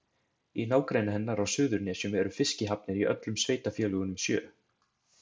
Í nágrenni hennar á Suðurnesjum eru fiskihafnir í öllum sveitarfélögunum sjö.